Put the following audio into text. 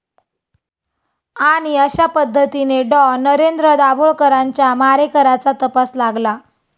....आणि अशापद्धतीने डॉ. नरेंद्र दाभोळकरांच्या मारेकऱ्याचा तपास लागला